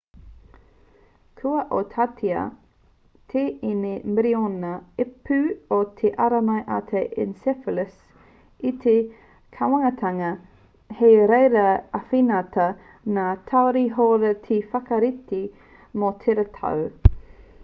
kua oatitia te tini miriona ipu o te ārai mate encephalitis e te kāwanatanga hei reira e āwhinatia ngā tari hauora te whakarite mō tērā tau